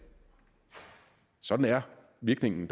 sådan er virkningen